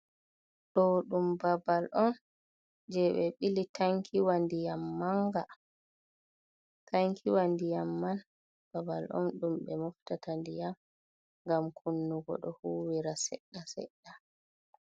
Ɗo ɗum babal on je ɓe ɓili tankiwa ndiyam manga tankiwa ndiyam man babal on ɗum ɓe moftata ndiyam gam kunnugo ɗo huwira seɗɗa seɗɗa.